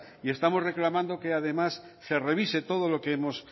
y estamos reclamando que además se revise todo lo que hemos